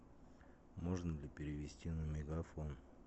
можно ли перевести на мегафон